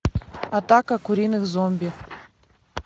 атака куриных зомби